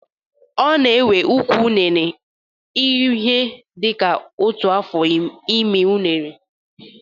Ọ na-ewe ụkwụ unere ihe dịka otu afọ ịmi unere